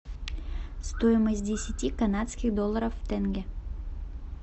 стоимость десяти канадских долларов в тенге